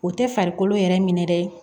O tɛ farikolo yɛrɛ minɛ dɛ